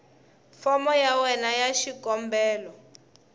fomo ya wena ya xikombelo